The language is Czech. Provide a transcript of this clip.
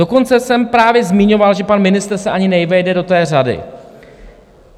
Dokonce jsem právě zmiňoval, že pan ministr se ani nevejde do té řady.